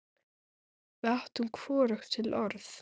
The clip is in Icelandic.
Við áttum hvorugt til orð.